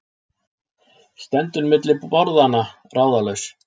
Stendur milli borðanna, ráðalaus.